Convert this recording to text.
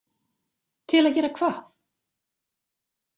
Til að gera hvað?